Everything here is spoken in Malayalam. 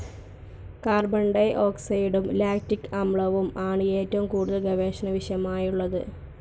കാർബൺ ഡി ഓക്സൈഡും ലാക്റ്റിക്‌ അമ്ലവും ആണ്‌ ഏറ്റവും കൂടുതൽ ഗവേഷണ വിഷയമായിട്ടുള്ളത്‌